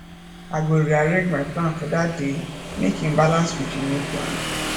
i go rearrange my plan for dat day mek im balance wit di new plan